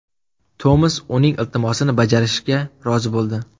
Tomas uning iltimosini bajarishga rozi bo‘ldi.